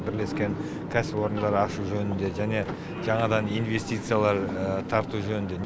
бірлескен кәсіпорындар ашу жөнінде және жаңадан инвестициялар тарту жөнінде